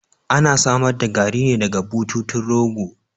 Ana samar da Garri ne daga bututun rogo